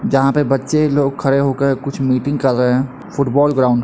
जहां पे बच्चे लोग खड़े होकर कुछ मीटिंग कर रहे हैं फुटबॉल ग्राउंड --